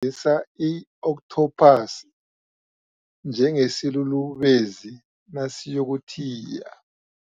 ise i-okthophasi njengesilulubezi nasiyokuthiya.